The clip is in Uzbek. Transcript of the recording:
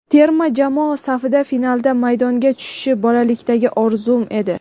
Terma jamoa safida finalda maydonga tushish bolalikdagi orzum edi.